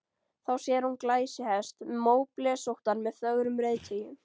Þá sér hún glæsihest, móblesóttan með fögrum reiðtygjum.